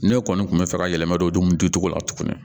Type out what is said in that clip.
Ne kɔni kun bɛ fɛ ka yɛlɛma don dumuni dun cogo la tugun